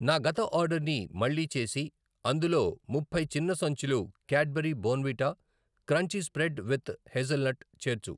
నా గత ఆర్డర్ని మళ్ళీ చేసి అందులో ముప్పై చిన్న సంచులు Cadbury Bournvita crunchy spread with hazelnut చేర్చు.